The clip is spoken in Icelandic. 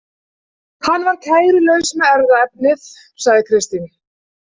Hann var kærulaus með erfðaefnið, sagði Kristín.